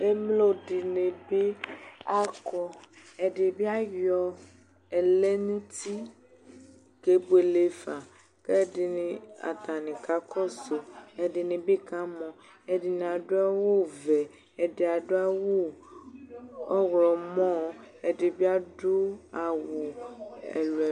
Emlodinibi akɔ, ɛɗibi ayɔ ɛlɛ nu uti keboele fa, ku ɛɗini atani kakɔsu, ɛɗinibi kamɔ, ɛɗini aɖu awuvɛ, ɛɗi aɗu awu ɔwlɔmɔ Ẹɗibi aɗu awu ɛluɛ